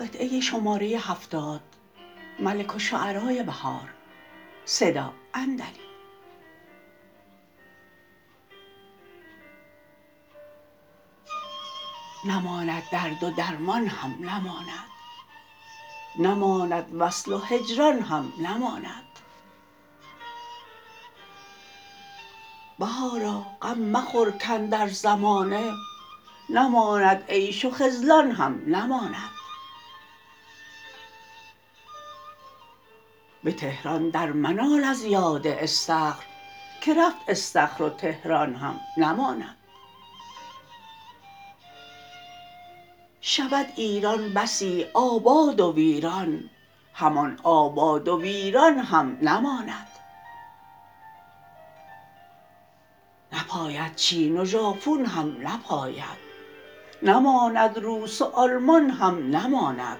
نماند درد و درمان هم نماند نماند وصل و هجران هم نماند بهارا غم مخورکاندر زمانه نماند عیش و خذلان هم نماند به تهران در منال ازیاد استخر که رفت استخر وتهران هم نماند شود ایران بسی آباد و ویران همان آباد و ویران هم نماند نپاید چین و ژاپون هم نپاید نماند روس و آلمان هم نماند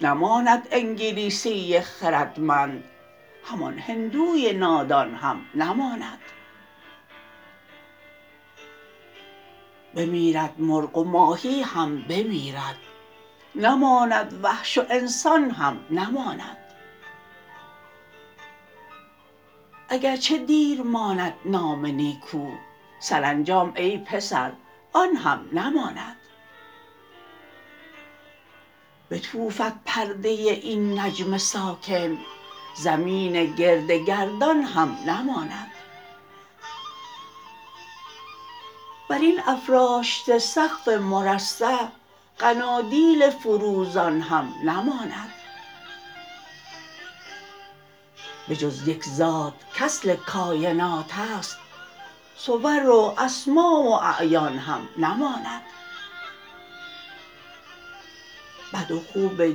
نماند انگلیسی خردمند همان هندوی نادان هم نماند بمیرد مرغ و ماهی هم بمیرد نماند وحش و انسان هم نماند اگرچه دیر ماند نام نیکو سرانجام ای پسر آن هم نماند بتوفد پرده این نجم ساکن زمین گرد گردان هم نماند بر این افراشته سقف مرصع قنادیل فروزان هم نماند بجز یک ذات کاصل کاینات است صور و اسماء و اعیان هم نماند بد و خوب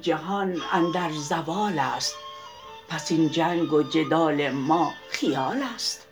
جهان اندر زوال است پس این جنگ و جدال ما خیال است